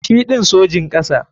Shi ɗin Sojin kasa.